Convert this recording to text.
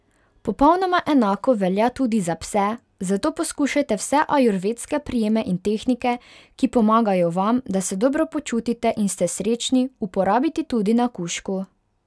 Popolnoma enako velja tudi za pse, zato poskušajte vse ajurvedske prijeme in tehnike, ki pomagajo vam, da se dobro počutite in ste srečni, uporabiti tudi na kužku.